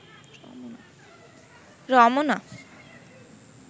Ramna